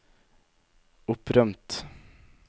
opprømt